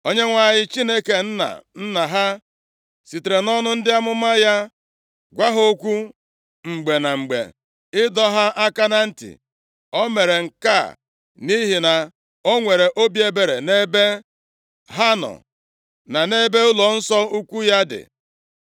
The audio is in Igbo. Onyenwe anyị, Chineke nna nna ha, sitere nʼọnụ ndị amụma ya gwa ha okwu mgbe na mgbe, ịdọ ha aka na ntị. O mere nke a nʼihi na o nwere obi ebere nʼebe ha nọ, na nʼebe ụlọnsọ ukwu ya dị.